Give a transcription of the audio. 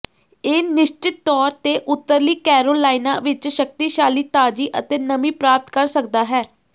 ਇਹ ਨਿਸ਼ਚਿਤ ਤੌਰ ਤੇ ਉੱਤਰੀ ਕੈਰੋਲਾਇਨਾ ਵਿੱਚ ਸ਼ਕਤੀਸ਼ਾਲੀ ਤਾਜ਼ੀ ਅਤੇ ਨਮੀ ਪ੍ਰਾਪਤ ਕਰ ਸਕਦਾ ਹੈ